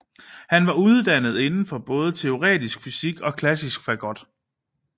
Han var uddannet inden for både teoretisk fysik og klassisk fagot